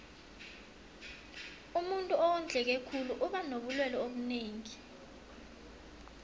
umuntuu owondleke khulu uba nobulelwe obunengi